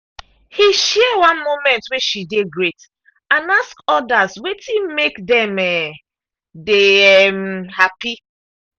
he share one moment way she dey great and ask others wetin make dem um dey um happy